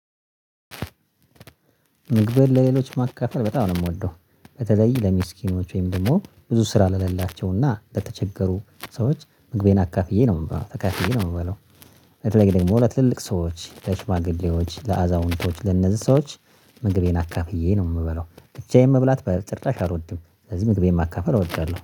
ምግብን ለሌሎች ማካፈል በጣም ነው የምወደው በተለይ ለምስኪኖች ወይም ደግሞ ብዙ ስራ ለሌላቸውና ለተቸገሩ ሰዎች ምግቤን አካፍዬ ነው የምበላው ተካፍዬ ነው የምበላው። በተለይ ደግሞ ለትልልቅ ሰዎች ለሽማግሌዎች ለአዛውንቶች ለነዚህ ሰዎች። ምግቤን አካፍዬ ነው የምላው ብቻዬን መብላት በጥራሽ አልወድም ስለዚህ ምግቤን ማካፈል አወዳለሁ